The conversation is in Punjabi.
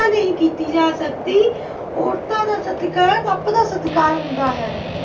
ਨਹੀਂ ਕੀਤੀ ਜਾ ਸਕਦੀ। ਔਰਤਾਂ ਦਾ ਸਤਿਕਾਰ ਰੱਬ ਦਾ ਸਤਿਕਾਰ ਹੁੰਦਾ ਹੈ।